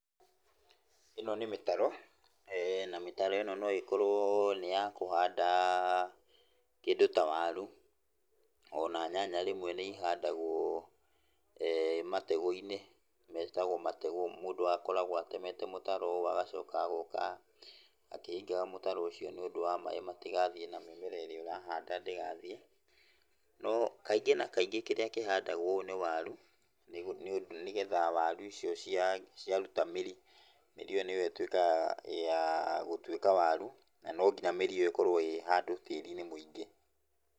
Ĩno nĩ mĩtaro, na mĩtaro ĩno noĩkorwo nĩ yakũhanda kĩndũ ta waru, ona nyanya rĩmwe nĩihandagwo matego-inĩ, metagũo matego. Mũndũ akoragwo atemete mũtaro agacoka agoka akĩhingaga mũtaro ũcio nĩũndũ wa maĩ matigathiĩ na mĩmera ĩrĩa ũrahanda ndĩgathiĩ, no kaingĩ na kaingĩ kĩrĩa kĩhandagũo ũũ nĩ waru, nĩgetha waru icio ciaruta mĩri, mĩri ĩyo nĩyo ĩtuĩkaga ya gũtuĩka waru, na no nginya mĩri ĩyo ĩkorwo ĩ handũ tĩri-inĩ mũingĩ.